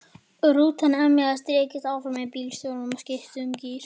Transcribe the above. Rútan emjaði og rykktist áfram og bílstjórinn skipti um gír.